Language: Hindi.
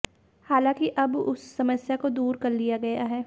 हालांकि अब उस समस्या को दूर कर लिया गया है